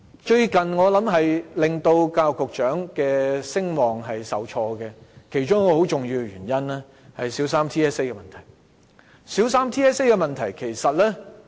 最近令教育局局長的聲望受挫的其中一個重要原因，是小三全港性系統評估的問題。